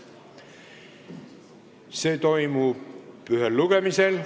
Eelnõu menetlemine toimub ühel lugemisel.